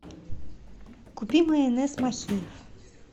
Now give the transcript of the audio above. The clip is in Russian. купи майонез махеев